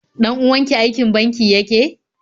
Ɗan uwanki aikin banki yake?